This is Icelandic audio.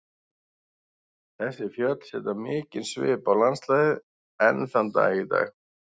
Þessi fjöll setja mikinn svip á landslagið enn þann dag í dag.